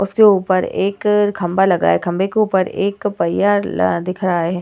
उसके ऊपर एक खंभा लगा है। खंभे के ऊपर एक पहिया ला दिख रहा है।